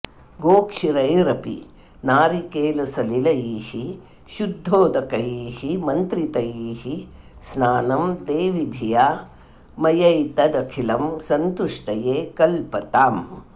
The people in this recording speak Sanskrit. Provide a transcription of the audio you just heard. गोक्षीरैरपि नारिकेलसलिलैः शुद्धोदकैर्मन्त्रितैः स्नानं देवि धिया मयैतदखिलं सन्तुष्टये कल्पताम्